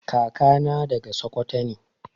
Kaka na daga sakwato ne.